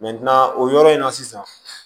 o yɔrɔ in na sisan